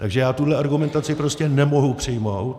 Takže já tuhle argumentaci prostě nemohu přijmout.